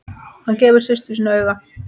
Hann gefur systur sinni auga.